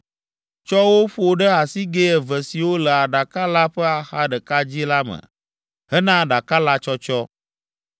Tsɔ wo ƒo ɖe asigɛ eve siwo le aɖaka la ƒe axa ɖeka dzi la me hena aɖaka la tsɔtsɔ.